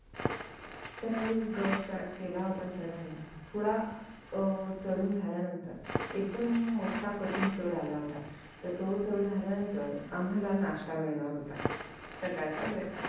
तर आम्ही गड start केला होता चढायला थोडा अह चडून झाल्यानंतर एकदम मोठा कठीण चड आला होता तर तो चड झाल्यानंतर आम्हाला नाष्ठा मिळणार होता सकाळचा breakfast